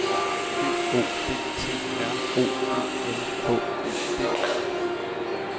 G O D T R O E N H E D